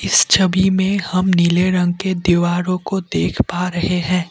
इस छवि में हम नीले रंग के दीवारों को देख पा रहे हैं।